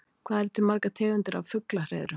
Hvað eru til margar tegundir af fuglahreiðrum?